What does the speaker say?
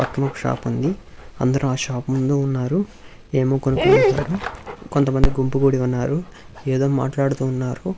పక్కనొక shop ఉంది అందరూ ఆ షాప్ ముందు ఉన్నారు ఏమో కొనుక్కుంటారు కొంతమంది గుంపు గూడి ఉన్నారు ఏదో మాట్లాడుతూ ఉన్నారు.